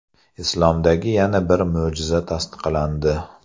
Islomdagi yana bir mo‘jiza tasdiqlandi.